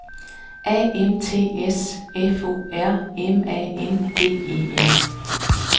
A M T S F O R M A N D E N